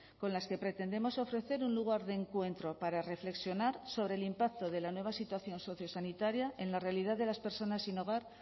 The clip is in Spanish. con las que pretendemos ofrecer un lugar de encuentro para reflexionar sobre el impacto de la nueva situación sociosanitaria en la realidad de las personas sin hogar